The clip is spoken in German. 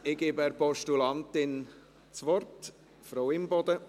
Ich gebe der Postulantin das Wort, Frau Imboden.